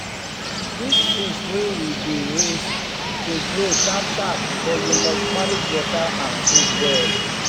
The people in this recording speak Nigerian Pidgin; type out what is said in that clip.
this fish wey we dey raise dey grow sharpsharp but you must manage water and food well